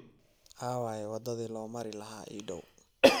aaway waddadii loo mari lahaa ii dhow